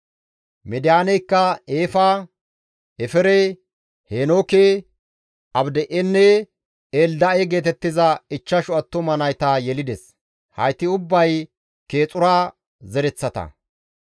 Midiyaaneykka Eefa, Efere, Heenooke, Abida7enne Elda7e geetettiza ichchashu attuma nayta yelides; hayti ubbay Keexura zereththata.